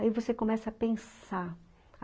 Aí você começa a pensar.